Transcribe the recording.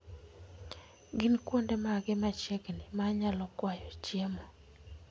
Gin kuonde mage machiegni ma anyalo kwayoe chiemo?